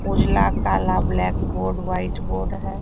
उजला काला blackboard whiteboard है।